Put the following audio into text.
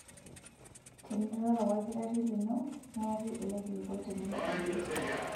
Teniroro olkitarri lino neyaki ele kilikuai tenilo adol.